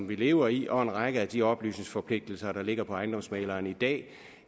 vi lever i og en række af de oplysningsforpligtelser der ligger for ejendomsmægleren i dag